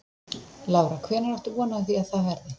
Lára: Hvenær áttu von á því að það verði?